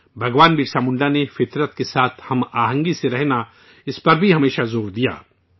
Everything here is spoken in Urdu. بھگوان برسا منڈا نے فطرت کے ساتھ ہم آہنگی سے رہنا، اس پر بھی ہمیشہ زور دیا